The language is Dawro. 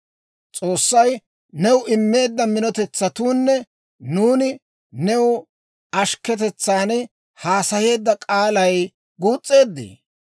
«S'oossay new immeedda mintsetsuunne nuuni new ashkketetsan haasayeedda k'aalay guus'eeddee?